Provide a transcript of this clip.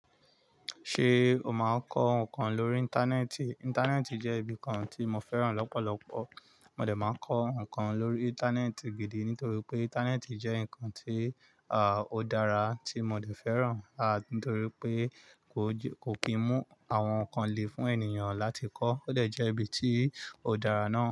Ṣé o máa ń kọ́ ǹkan lórí íńtánẹ́ẹ̀tì. Íńtánẹ́ẹ̀tì jẹ́ ibi kan tí mo fẹ́ràn lọ́pọ̀lọpọ̀ mo de máa ń kọ́ ǹkan lórí íńtánẹ́ẹ̀tì gidi nítorí pé íńtánẹ́ẹ̀tì jẹ́ ǹkan tí a o dára tí mo dẹ̀ fẹ́ràn a nítorí pé kò kì í mú àwọn ǹkan lè fún ènìyàn láti kọ́. Òdẹ jẹ ibi tí ò dààrà nàà.